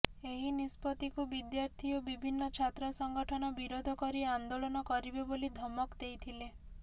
ଏହି ନିଷ୍ପତ୍ତିକୁ ବିଦ୍ୟାର୍ଥୀ ଓ ବିଭିନ୍ନ ଛାତ୍ର ସଂଗଠନ ବିରୋଧ କରି ଆନ୍ଦୋଳନ କରିବେ ବୋଲି ଧମକ ଦେଇଥିଲେ